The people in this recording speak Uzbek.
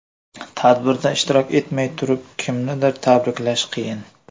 Tadbirda ishtirok etmay turib kimnidir tabriklash qiyin.